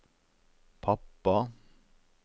pappa